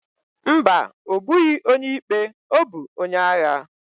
Ḿbà, obughi onye ikpe, obu onye agha.